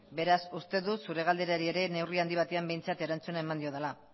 beraz uste dut zure galderari ere neurri handi batean behintzat erantzuna eman diodala